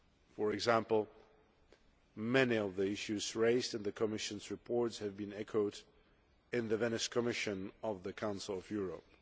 for example, many of the issues raised in the Commission's report have been echoed in the Venice Commission of the Council of Europe.